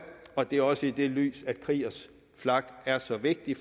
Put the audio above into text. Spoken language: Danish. det er også i det lys at kriegers flak er så vigtig